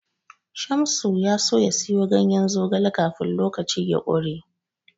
Shamsu ya so ya siyo ganyen zogale kafin lokaci ya ƙure.